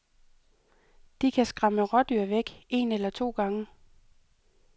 De kan skræmme rådyr væk, en eller to gange.